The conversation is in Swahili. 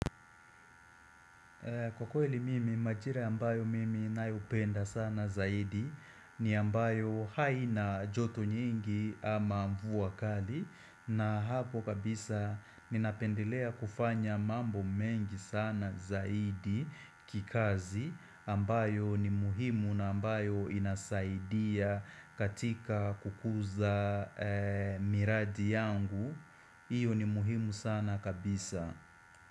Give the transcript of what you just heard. Kwa kweli mimi majira ambayo mimi ninayopenda sana zaidi ni ambayo haina joto nyingi ama mvua kali na hapo kabisa ninapendelea kufanya mambo mengi sana zaidi kikazi ambayo ni muhimu na ambayo inasaidia katika kukuza miradi yangu. Iyo ni muhimu sana kabisa.